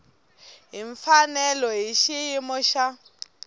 hi mfanelo hi xiyimo xa